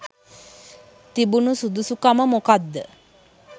තිබුණු සුදුසු කම මොකක්ද?